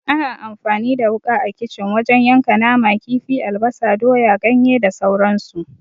Ana amfani da wuka a kicin wajen yanka nama, kifi, albasa, doya, ganye da sauran su.